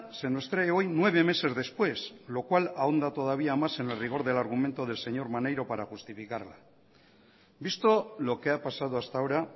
se nos trae hoy nueve meses después lo cual ahonda todavía más en el rigor del argumento del señor maneiro para justificarla visto lo que ha pasado hasta ahora